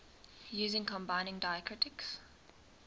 using combining diacritics